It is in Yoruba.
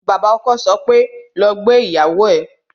Bàbá ọkọ sọ pé "lọ gbé ìyàwó ẹ"